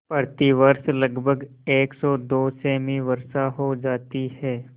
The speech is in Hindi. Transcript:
प्रतिवर्ष लगभग सेमी वर्षा हो जाती है